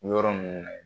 Yɔrɔ ninnu na yen